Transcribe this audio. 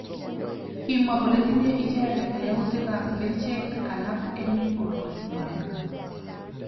Kimwa kole tinye icheket yautik ab kerchek alak eng borwek kwaak.